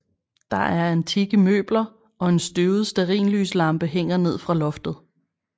Der er antikke møbler og en støvet stearinslyslampe hænger ned fra loftet